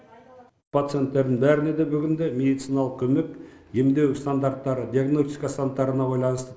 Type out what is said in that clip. пациенттердің бәріне де бүгінде медициналық көмек емдеу стандарттары диагностика стандарттарына байланысты